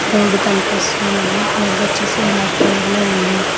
Road కనిపిస్తూ ఉంది రోడ్డొచేసి బ్లాక్ కలర్లో ఉంది.